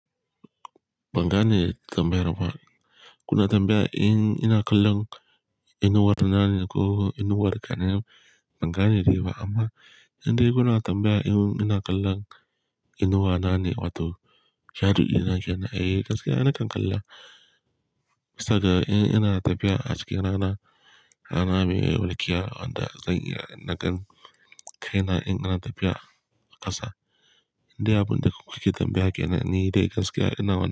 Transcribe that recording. Banga ne tambayar ba. Gona tambaya in ina kallon inuwar nan ne ko inuwar ƙanin banga ne dai ba amma indai gona tambaya in ina kallon inuwa na ne wato shadu ina kiana. Eh gaskiya ina kan kalla saboda in ina tafiya aski rana rana rana mai wulkiya wanda zan iya nagan kaina in yana tafiya ƙasa. Indai abun da kuke tambaya ke nan ni dai gaskiya ina wannan.